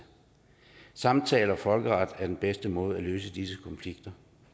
samtale og folkeret er den bedste måde at løse disse konflikter